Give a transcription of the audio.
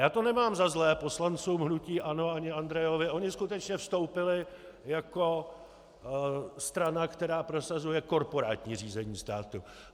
Já to nemám za zlé poslancům hnutí ANO ani Andrejovi, oni skutečně vstoupili jako strana, která prosazuje korporátní řízení státu.